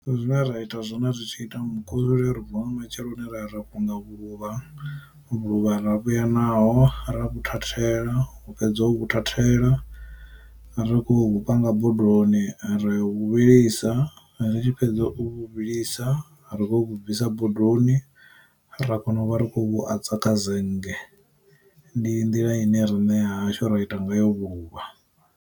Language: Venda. Zwine ra ita zwone ri tshi ita mukusule ri vuwa nga matsheloni ra ya ra fhunga vhuluvha, vhuluvha ra vhuya naho ra vhu thathela fhedza uvhu thathela, ri khou panga bodoni riyo vhu vhilisa, ri tshi fhedza u vhu vhilisa ri khou vhu bvisa bodoni, ra kona u vha ri khou vhu adza kha zennge. Ndi nḓila ine rine ha hashu ra ita ngayo vhuvha.